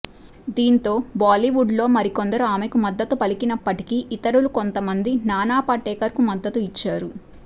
దీంతో బాలీవుడ్ లో మరికొందరు ఆమెకు మద్దతు పలికినప్పటికీ ఇతరులు కొంత మంది నానా పటేకర్ కు మద్దతు ఇచ్చారు